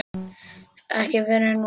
Ekki fyrr en núna.